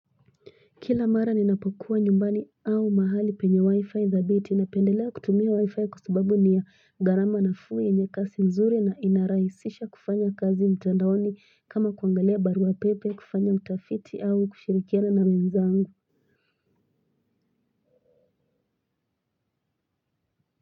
Kila mara ninapokuwa nyumbani au mahali penye wifi thabiti napendelea kutumia wifi kwa subabu ni ya gharama nafuu yenye kasi mzuri na inaraisisha kufanya kazi mtandaoni kama kuangalia barua pepe kufanya utafiti au kushirikiana na wenzangu.